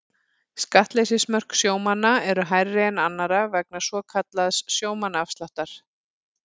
Skattleysismörk sjómanna eru hærri en annarra vegna svokallaðs sjómannaafsláttar.